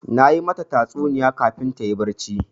Na yi mata tatsuniya kafin ta yi barci.